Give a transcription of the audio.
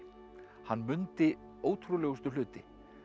hann mundi ótrúlegustu hluti